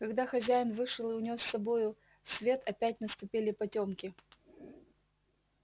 когда хозяин вышел и унёс с собою свет опять наступили потёмки